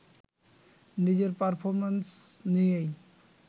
নিজের পারফরম্যান্স নিয়েই